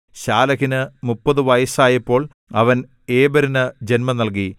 ശാലഹിന് മുപ്പത് വയസ്സായപ്പോൾ അവൻ ഏബെരിനു ജന്മം നൽകി